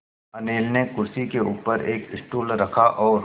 अनिल ने कुर्सी के ऊपर एक स्टूल रखा और